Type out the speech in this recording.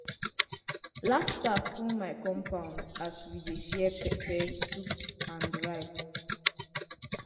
laughter full our compound as we dey share pepper soup and rice.